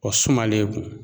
Ɔ sumalen kun